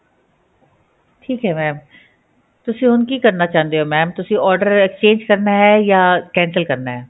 ਠੀਕ ਹੈ mam ਤੁਸੀਂ ਹੁਣ ਕੀ ਕਰਨਾ ਚਾਹੁੰਦੇ ਹੋ mam ਤੁਸੀਂ order exchange ਕਰਨਾ ਹੈ ਜਾਂ cancel ਕਰਨਾ ਹੈ